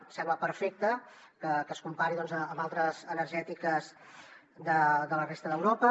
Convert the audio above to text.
em sembla perfecte que es compari doncs amb altres energètiques de la resta d’europa